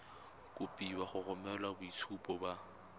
kopiwa go romela boitshupo ba